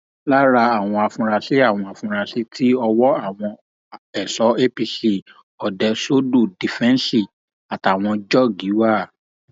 ọlàwálẹ ajáò ìbàdàn àwọn adigunjalè ẹlẹni méjì kan ti rán gbajúmọ oníṣòwò bàtà nígboro ìbàdàn lọ sọrun àpàpàǹdodo